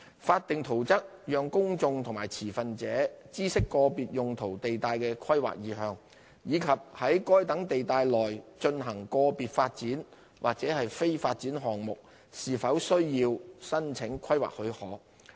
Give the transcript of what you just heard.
法定圖則讓公眾和持份者知悉個別用途地帶的規劃意向，以及在該等地帶內進行個別發展或非發展項目是否需要申請規劃許可。